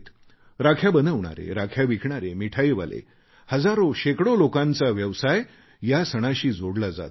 राख्या बनवणारे राख्या विकणारे मिठाईवाले हजारोशेकडो लोकांचा व्यवसाय या सणाशी जोडला जातो